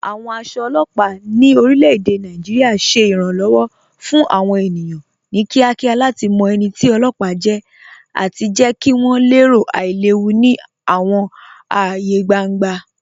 Awọn aṣọ ọlọpa ni orilẹ̀-èdè Nàìjíríà ṣẹ iranlọ́wọ fun awọn ènìyàn ni kíakíá lati mọ ẹni tì ọlọpa jẹ̀ àti jẹ̀ kí wọn lẹ̀rò ailẹ̀wù ni awọn ààyè gbàŋgbà.